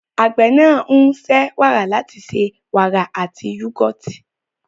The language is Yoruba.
Àgbẹ̀ náà ń ṣe wàrà láti ṣe wàrà àti yúgọ́ọ̀tì.